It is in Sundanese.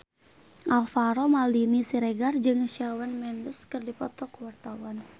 Alvaro Maldini Siregar jeung Shawn Mendes keur dipoto ku wartawan